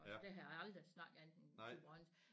Der havde jeg aldrig snakket andet end thyborønsk